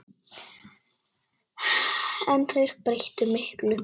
En þeir breyttu miklu.